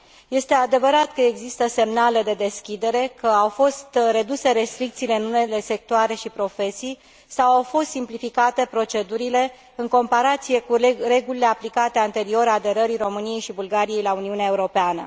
Este adevărat că există semnale de deschidere, că au fost reduse restricțiile în unele sectoare și profesii sau au fost simplificate procedurile în comparație cu regulile aplicate anterior aderării României și Bulgariei la Uniunea Europeană.